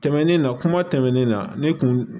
Tɛmɛnen na kuma tɛmɛnen na ne tun